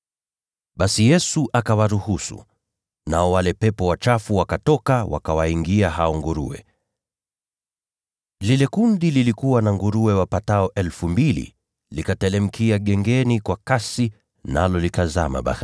Basi Yesu akawaruhusu, nao wale pepo wachafu wakatoka, wakawaingia hao nguruwe. Lile kundi lilikuwa na nguruwe wapatao 2,000, nao wote wakateremkia gengeni kwa kasi, nao wakatumbukia ziwani na kuzama.